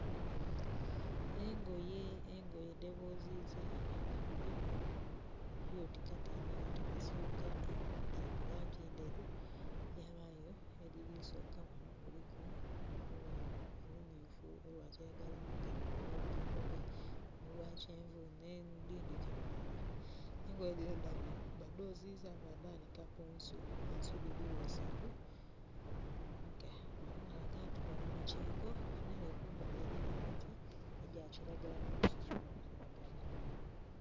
Engoye dheboziza nga mulimu oti kateni oti masuka dhiri mu langi nderu yabaayo edhiri kusooka ghano, kuliku olumyufu, olwa kiragala omugemu, olwa kakobe, olwa kyenvu ne dhindhi kamaala. Engoye dhino badhoziza badanika kunsu ensu dirigho isatu. Nga ghanho ghalaga nti ghali mu kiiko nere kumbali eriyo emiti egya kiragala n'obusubi bwa kiragala.